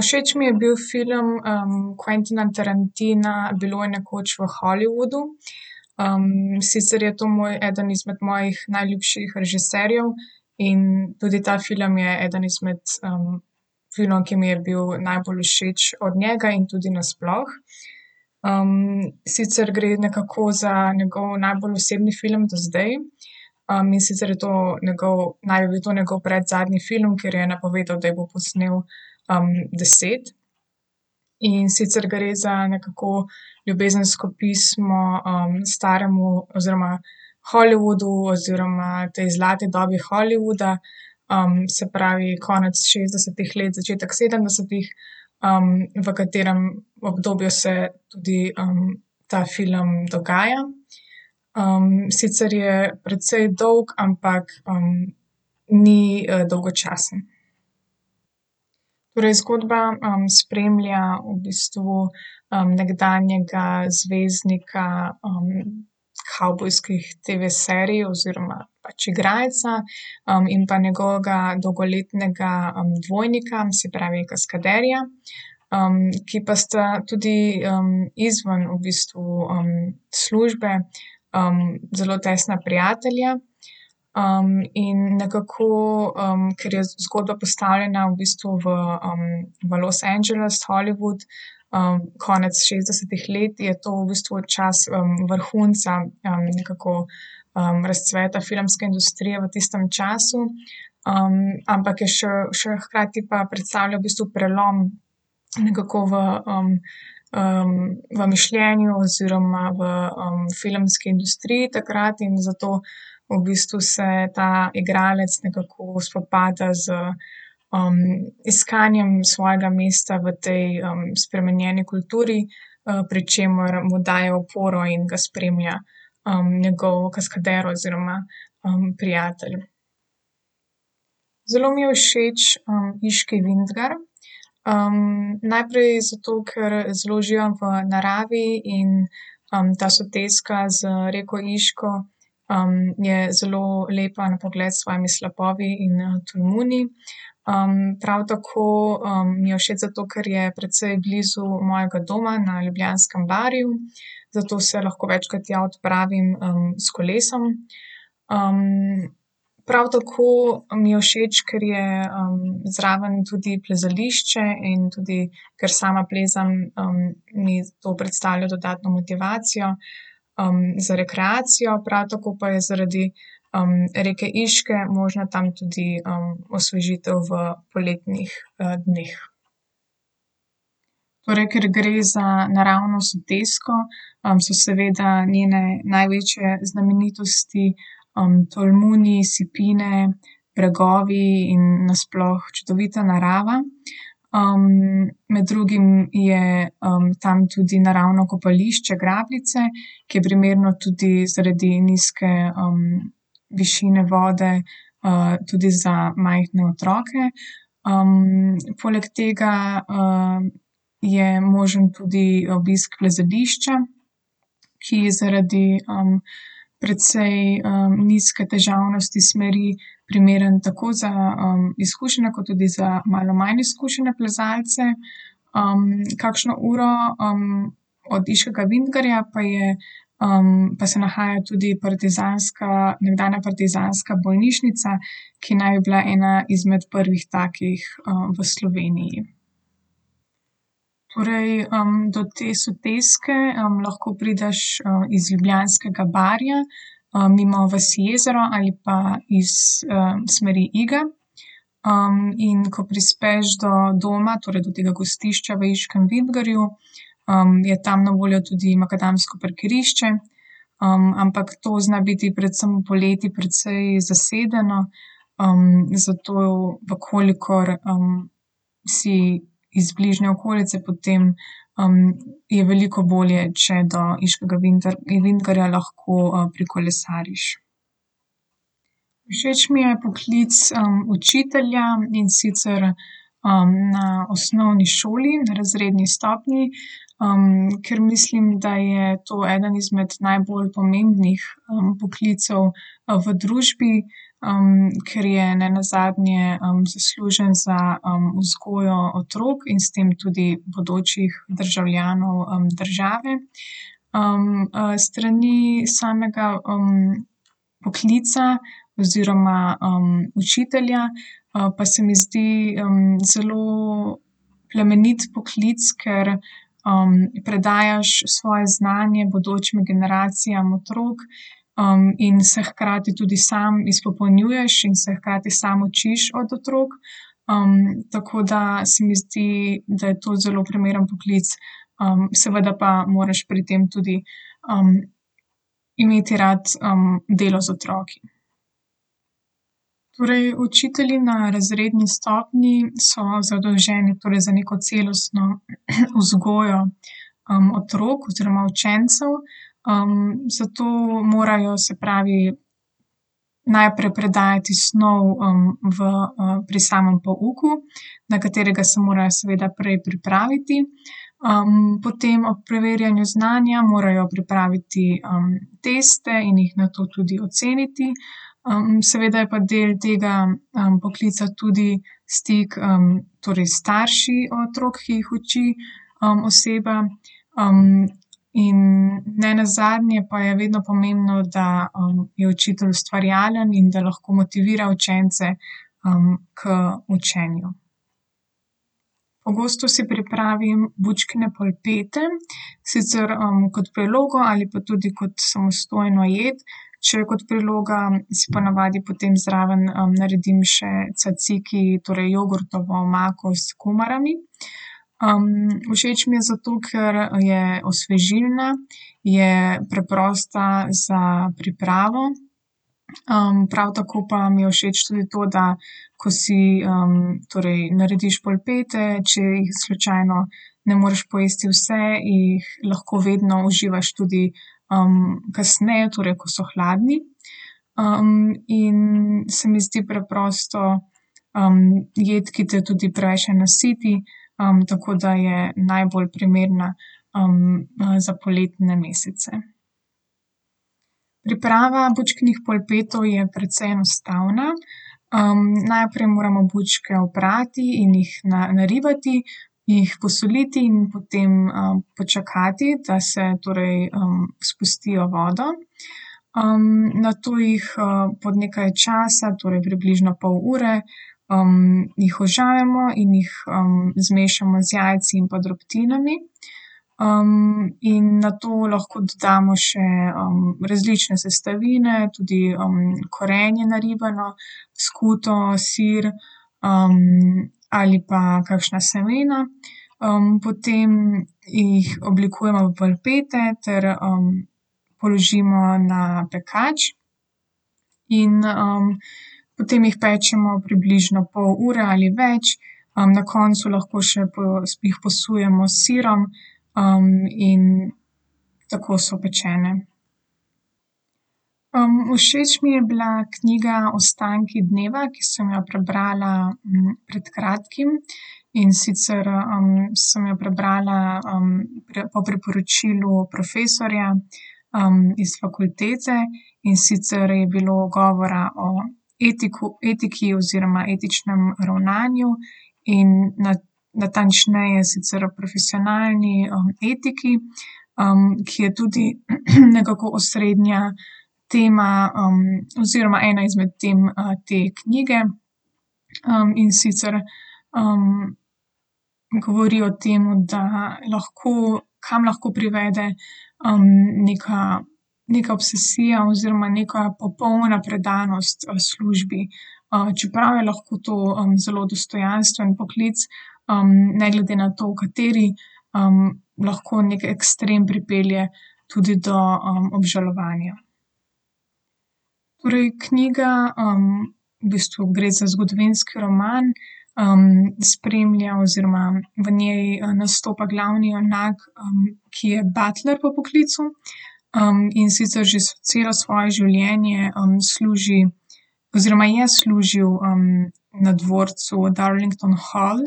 všeč mi je bil film, Quentina Tarantina Bilo je nekoč v Hollywoodu. sicer je to moj eden izmed mojih najljubših režiserjev in tudi ta film je eden izmed, filmov, ki mi je bil najbolj všeč od njega in tudi nasploh. sicer gre nekako za njegov najbolj osebni film do zdaj. in sicer je to njegov, naj bi bil to njegov predzadnji film, ker je napovedal, da jih bo posnel, deset, in sicer gre za nekako ljubezensko pismo, staremu oziroma Hollywoodu oziroma tej zlati dobi Hollywooda, se pravi, konec šestdesetih let, začetek sedemdesetih, v katerem obdobju se tudi, ta film dogaja. sicer je precej dolg, ampak, ni, dolgočasen. Torej zgodba, spremlja v bistvu, nekdanjega zvezdnika, kavbojskih TV-serij oziroma pač igralca, in pa njegovega dolgoletnega, dvojnika, se pravi kaskaderja. ki pa sta tudi, izven v bistvu, službe, zelo tesna prijatelja. in nekako, ker je zgodba postavljena v bistvu v, v Los Angeles, Hollywood, konec šestdesetih let, je to v bistvu čas, vrhunca nekako, razcveta filmske industrije v tistem času. ampak je še, še hkrati pa predstavlja v bistvu prelom nekako v, v mišljenju oziroma v, filmski industriji takrat in zato v bistvu se ta igralec nekako spopada z, iskanjem svojega mesta v tej, spremenjeni kulturi, pri čemer mu daje oporo in ga spremlja, njegov kaskader oziroma, prijatelj. Zelo mi je všeč, Iški vintgar. najprej zato, ker zelo uživam v naravi in, ta soteska z reko Iško, je zelo lepa na pogled s svojimi slapovi in tolmuni. prav tako, mi je všeč zato, ker je precej blizu mojega doma na Ljubljanskem barju. Zato se lahko večkrat tja odpravim, s kolesom. prav tako mi je všeč, ker je, zraven tudi plezališče in tudi, ker sama plezam, mi to predstavlja dodatno motivacijo, za rekreacijo, prav tako pa je zaradi, reke Iške možna tam tudi, osvežitev v poletnih, dneh. Torej, ker gre za naravno sotesko, so seveda njene največje znamenitosti, tolmuni, sipine, bregovi in nasploh čudovita narava. med drugim je, tam tudi naravno kopališče Grabljice, ki je primerno tudi zaradi nizke, višine vode, tudi za majhne otroke. poleg tega, je možen tudi obisk plezališča, ki zaradi, precej, nizke težavnosti smeri primeren tako za, izkušene kot tudi za malo manj izkušene plezalce. kakšno uro, od Iškega vintgarja pa je, pa se nahaja tudi partizanska, nekdanja partizanska bolnišnica, ki naj bi bila ena izmed prvih takih, v Sloveniji. Torej, do te soteske, lahko prideš, iz Ljubljanskega barja, mimo vasi Jezero ali pa iz, smeri Iga. in ko prispeš do doma, torej do tega gostišča v Iškem vintgarju, je tam na voljo tudi makadamsko parkirišče. ampak to zna biti predvsem poleti precej zasedeno, zato, v kolikor, si iz bližnje okolice potem, je veliko bolje, če do Iškega vintgarja lahko prekolesariš. Všeč mi je poklic, učitelja, in sicer, na osnovni šoli, na razredni stopnji. ker mislim, da je to eden izmed najbolj pomembnih poklicev, v družbi, ker je nenazadnje, zaslužen za, vzgojo otrok in s tem tudi bodočih državljanov, države. s strani samega, poklica oziroma, učitelja, pa se mi zdi, zelo plemenit poklic, ker, predajaš svoje znanje bodočim generacijam otrok, in se hkrati tudi sam izpopolnjuješ in se hkrati samo učiš od otrok. tako da se mi zdi, da je to zelo primeren poklic, seveda pa moraš pri tem tudi, imeti rad, delo z otroki. Torej učitelji na razredni stopnji so zadolženi torej za neko celostno vzgojo, otrok oziroma učencev. zato morajo, se pravi, najprej predajati snov, v, pri samem pouku, na katerega se morajo seveda prej pripraviti. potem ob preverjanju znanja morajo pripraviti, teste in jih nato tudi oceniti. seveda je pa del tega, poklica tudi stik, torej s starši otrok, ki jih uči, oseba, in nenazadnje pa je vedno pomembno, da, je učitelj ustvarjalen in da lahko motivira učence, k učenju. Pogosto si pripravim bučkine polpete. Sicer, kot prilogo ali pa tudi kot samostojno jed. Če je kot priloga, si po navadi potem zraven, naredim tzatziki, torej jogurtovo omako s kumarami. všeč mi je zato, ker je osvežilna, je preprosta za pripravo, prav tako pa mi je všeč tudi to, da ko si, torej narediš polpete, če jih slučajno ne moreš pojesti vse, jih lahko vedno uživaš tudi, kasneje, torej, ko so hladni. in se mi zdi preprosto, jed, ki te tudi preveč ne nasiti, tako da je najbolj primerna, za poletne mesece. Priprava bučkinih polpetov je precej enostavna. najprej moramo bučke oprati in jih naribati, jih posoliti in potem, počakati, da se, torej, spustijo vodo. nato jih, po nekaj časa, torej približno pol ure, jih ožamemo in jih zmešamo z jajci in pa drobtinami. in nato lahko dodamo še, različne sestavine, tudi, korenje naribano, skuto, sir, ali pa kakšna semena. potem jih oblikujemo v polpete ter, položimo na pekač. In, potem jih pečemo približno pol ure ali več, na koncu lahko še jih posujemo s sirom, in tako so pečene. všeč mi je bila knjiga Ostanki dneva, ki sem jo prebrala, pred kratkim, in sicer, sem jo prebrala, po priporočilu profesorja, iz fakultete. In sicer je bilo govora o etiku, etiki oziroma etičnem ravnanju, in natančneje sicer o profesionalni etiki. ki je tudi nekako osrednja tema, oziroma ena izmed tem, te knjige. in sicer, govori o tem, da lahko, kam lahko privede, neka, neka obsesija oziroma neka popolna predanost, službi. čeprav je lahko to, zelo dostojanstven poklic, ne glede na to, kateri, lahko neki ekstrem pripelje tudi do, obžalovanja. Torej knjiga, v bistvu gre za zgodovinski roman, spremlja oziroma v njen nastopa glavni junak, ki je butler po poklicu, in sicer že celo svoje življenje, služi oziroma je služil, na dvorcu od Darlington Hall,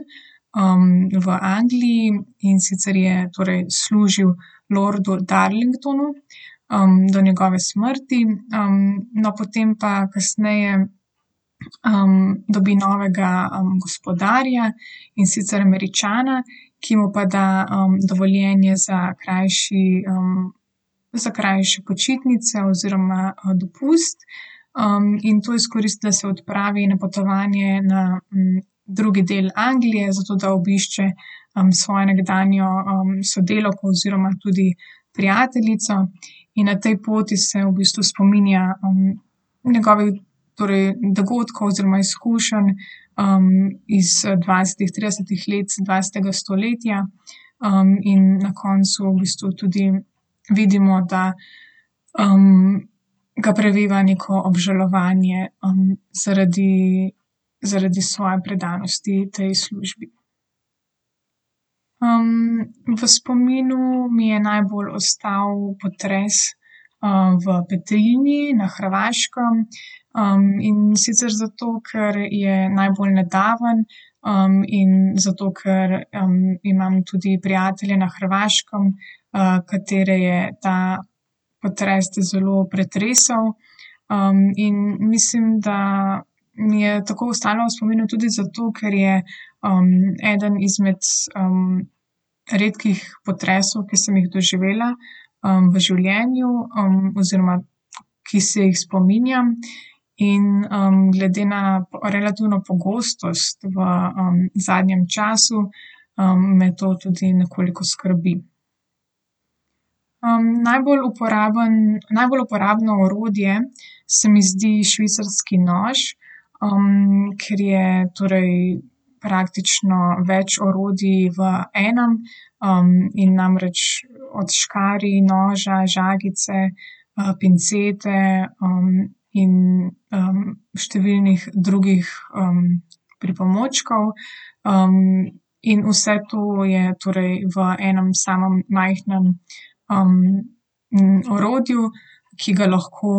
v Angliji, in sicer je torej služil lordu Darlingtonu, do njegove smrti. no, potem pa kasneje, dobi novega, gospodarja, in sicer Američana, ki mu pa da, dovoljenje za krajši, za krajše počitnice oziroma, dopust. in to izkoristi, da se odpravi na potovanje na, drugi del Anglije, zato da obišče, svojo nekdanjo, sodelavko oziroma tudi prijateljico. In na tej poti se v bistvu spominja, njegovih torej dogodkov oziroma izkušenj, iz, dvajsetih, tridesetih let dvajsetega stoletja. in na koncu v bistvu tudi vidimo, da, ga preveva neko obžalovanje, zaradi, zaradi svoje predanosti tej službi. v spominu mi je najbolj ostal potresi, v Petrinji na Hrvaškem. in sicer zato, ker je najbolj nedaven, in zato ker, imam tudi prijatelja na Hrvaškem, katere je ta potres zelo pretresel, in mislim, da mi je tako ostalo v spominu tudi zato, ker je, eden izmed, redkih potresov, ki sem jih doživela, v življenju, oziroma, ki se jih spominjam. In, glede na relativno pogostost v, zadnjem času, me to tudi nekoliko skrbi. najbolj uporaben, najbolj uporabno orodje se mi zdi švicarski nož, ker je torej praktično več orodij v enem, in namreč od škarij, noža, žagice, pincete, in, številnih drugih, pripomočkov, in vse to je torej v enem samem majhnem, orodju, ki ga lahko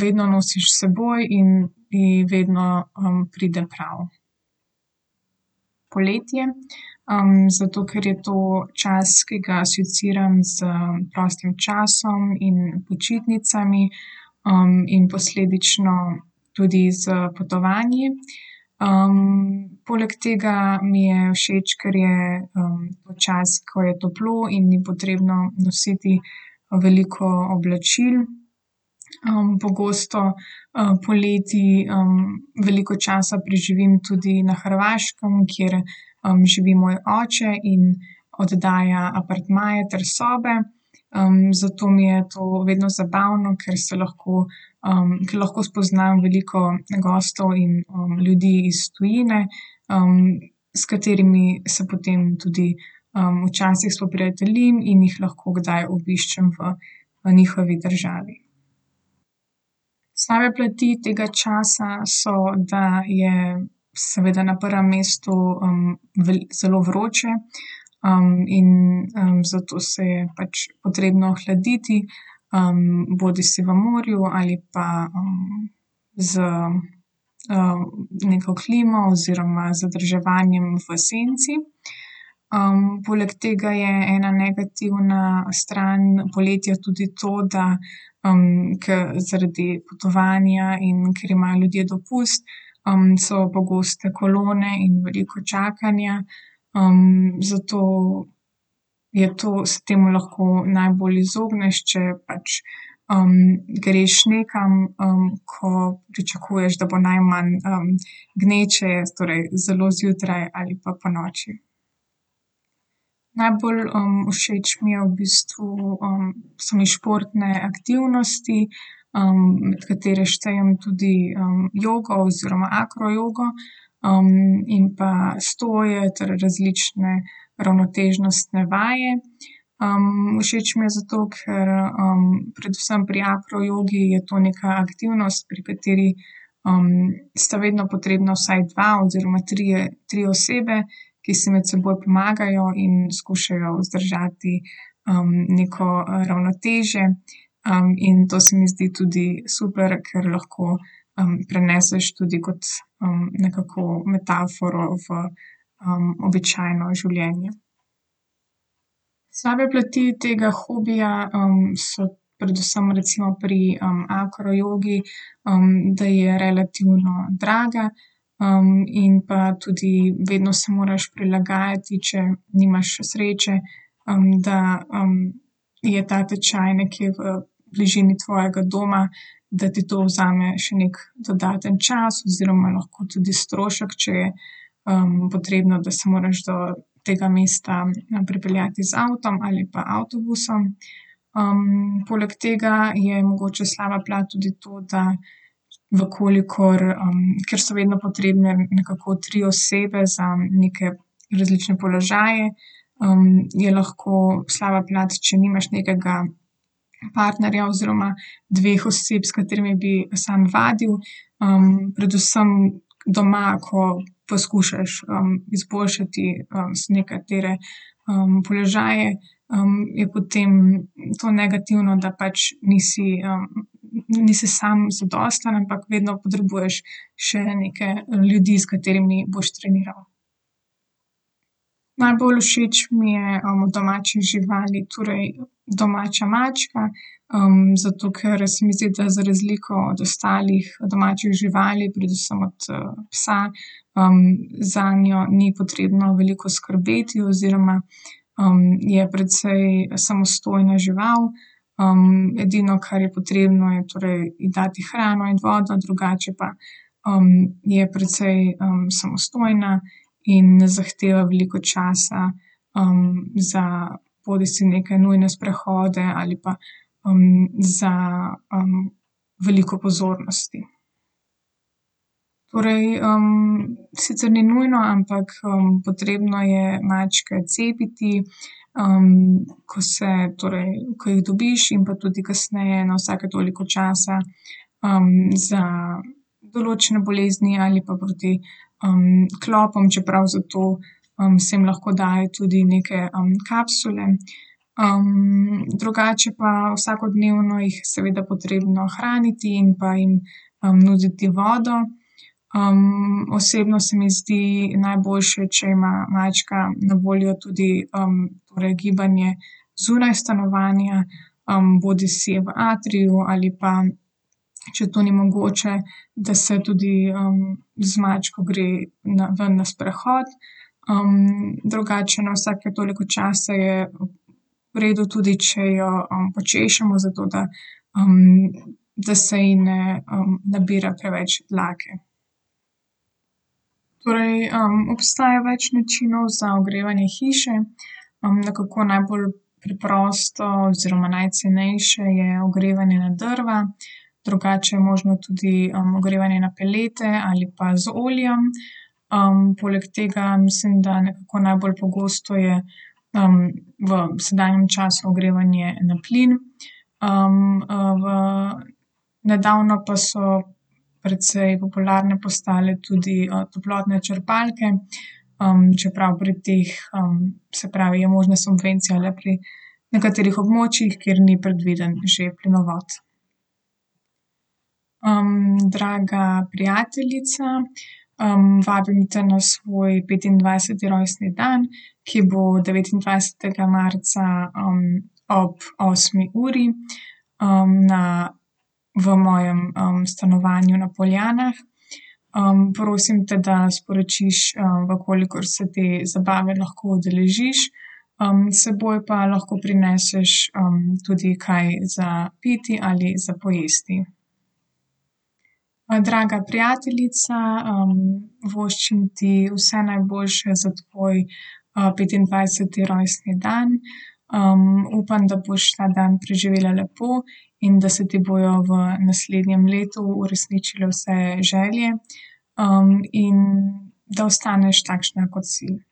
vedno nosiš s seboj in ti vedno pride prav. Poletje, zato ker je to čas, ki ga asociiram z prostim časom in počitnicami. in posledično tudi s potovanji. poleg tega mi je všeč, ker je, to čas, ko je toplo in ni potrebno nositi, veliko oblačil. pogosto, poleti, veliko časa preživim tudi na Hrvaškem, kjer, živi moj oče in oddaja apartmaje ter sobe. zato mi je to vedno zabavno, ker se lahko, ker lahko spoznam veliko gostov in, ljudi iz tujine, s katerimi se potem tudi, včasih spoprijateljim in jih lahko kdaj obiščem v, v njihovi državi. Slabe plati tega časa so, da je seveda na prvem mestu, zelo vroče. in, zato se je pač potrebno ohladiti, bodisi v morju ali pa, z, neko klimo oziroma zadrževanjem v senci. poleg tega je ena negativna stran poletja tudi to, da, ke zaradi potovanja in ker imajo ljudje dopust, so pogoste kolone in veliko čakanja. zato je to se temu lahko najbolj izogneš, če pač, greš nekam, ko pričakuješ, da bo najmanj gneče, torej zelo zjutraj ali pa ponoči. Najbolj, všeč mi je v bistvu, so mi športne aktivnosti, med katere štejem tudi, jogo oziroma akrojogo. in pa stoje ter različne ravnotežnostne vaje. všeč mi je zato, ker, predvsem pri akrojogi je to neka aktivnost, pri kateri, sta vedno potrebna vaj dva oziroma trije, tri osebe, ki si med seboj pomagajo in skušajo vzdržati, neko, ravnotežje, in to se mi zdi tudi super, ker lahko, preneseš tudi kot, nekako metaforo v, običajno življenje. Slabe plati tega hobija, so predvsem recimo pri akrojogi, da je relativno draga, in pa tudi vedno se moraš prilagajati, če nimaš sreče, da, je ta tečaj nekje v bližini tvojega doma, da ti to vzame še neki dodaten čas oziroma lahko tudi strošek, če je, potrebno, da se moraš do tega mesta, pripeljati z avtom ali pa avtobusom. poleg tega je mogoče slaba plat tudi to, da, v kolikor, ker so vedno potrebne nekako tri osebe za neke različne položaje, je lahko slaba plat, če nimaš nekega partnerja oziroma dveh oseb, s katerimi bi samo vadil, predvsem doma, ko poskušaš, izboljšati nekatere, položaje, je potem to negativno, da pač nisi, nisi sam zadosten, ampak vedno potrebuješ še neke ljudi, s katerimi boš treniral. Najbolj všeč mi je od domačih živali torej domača mačka. zato, ker se mi zdi, da za razliko od ostalih domačih živali, predvsem od, psa, zanjo ni potrebno veliko skrbeti oziroma, je precej samostojna žival, edino, kar je potrebno, je torej ji dati hrano in vodo, drugače pa, je precej, samostojna in ne zahteva veliko časa, za bodisi neke nujne sprehode ali pa, za, veliko pozornosti. Torej, sicer ni nujno, ampak, potrebno je mačke cepiti, ko se torej, ko jih dobiš in pa tudi kasneje na vsake toliko časa, za določene bolezni ali pa proti, klopom, čeprav za to, se jim lahko daje tudi neke, kapsule. drugače pa vsakodnevno jih je seveda potrebno hraniti in pa jim, nuditi vodo. osebno se mi zdi najboljše, če ima mačka na voljo tudi, torej gibanje zunaj stanovanja, bodisi v atriju ali pa, če to ni mogoče, da se tudi, z mačko gre na ven na sprehod. drugače na vsake toliko časa je v redu tudi, če jo, počešemo, zato da, da se ji ne, nabira preveč dlake. Torej, obstaja več načinov za ogrevanje hiše. nekako najbolj preprosto oziroma najcenejše je ogrevanje na drva. Drugače je možno tudi, ogrevanje na pelete ali pa z oljem. poleg tega mislim, da nekako najbolj pogosto je, v sedanjem času ogrevanje na plin. v nedavno pa so precej popularne postale tudi, toplotne črpalke. čeprav pri teh, se pravi, je možna subvencija le pri nekaterih območjih, kjer ni predviden že plinovod. draga prijateljica, vabim te na svoj petindvajseti rojstni dan, ki bo devetindvajsetega marca, ob osmi uri. na, v mojem, stanovanju na Poljanah. prosim te, da sporočiš, v kolikor se te zabave lahko udeležiš. s seboj pa lahko prineseš, tudi kaj za piti ali za pojesti. draga prijateljica, voščim ti vse najboljše za tvoj, petindvajseti rojstni dan, upam, da boš ta dan preživela lepo in da se ti bojo v naslednjem letu uresničile vse želje. in da ostaneš takšna, kot si.